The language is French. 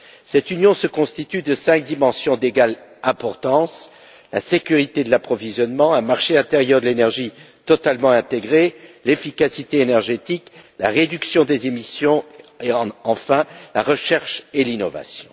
Cette Union compte cinq dimensions d'égale importance la sécurité de l'approvisionnement, un marché intérieur de l'énergie totalement intégré, l'efficacité énergétique, la réduction des émissions et, enfin, la recherche et l'innovation.